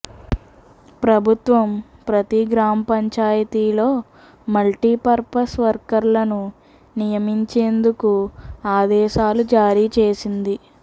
ప్రభుత్వం ప్రతి గ్రామపంచాయతీలో మల్టీపర్పస్ వర్కర్లను నియమించేందుకు ఆదేశాలు జారీ చేసింది